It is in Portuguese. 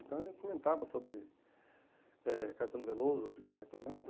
Então, a gente comentava sobre eh Caetano Veloso, Chico Bartolana.